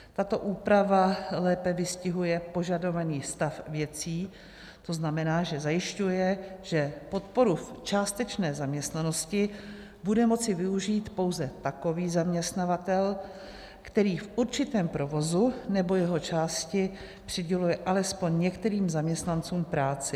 Tato úprava lépe vystihuje požadovaný stav věcí, to znamená, že zajišťuje, že podporu v částečné zaměstnanosti bude moci využít pouze takový zaměstnavatel, který v určitém provozu nebo jeho části přiděluje alespoň některým zaměstnancům práci.